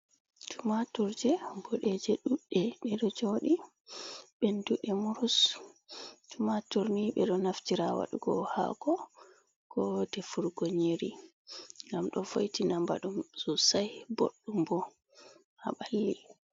Tumaturje boɗeje ɗudɗe, ɗe ɗo joɗi ɓenduɗe morus. Tumaturni ɓe ɗo naftira ha waɗugo hako ko defurgo nyeri ngam ɗo vo'itina mbaɗu sosai bodɗum bo ha ɓalli.